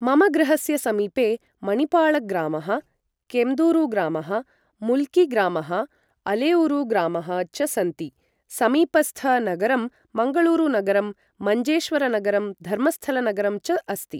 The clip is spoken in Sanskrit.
मम गृहस्य समीपे मणिपालग्रामः केम्दूरुग्रामः मुल्किग्रामः अलेऊरुग्रामः च सन्ति समीपस्थ नगरं मङ्गलूरुनगरम् मञ्जेश्वरनगरम् धर्मस्थलनगरं च अस्ति ।